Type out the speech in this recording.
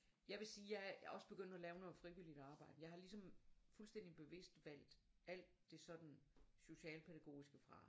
Jeg vil sige jeg er jeg også begyndt at lave noget frivilligt arbejde jeg har ligesom fuldstændigt bevidst valgt alt det sådan socialpædagogiske fra